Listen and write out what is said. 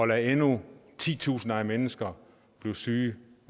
lade endnu titusinder af mennesker blive syge